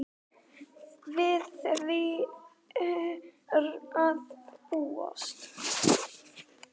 Við því er að búast.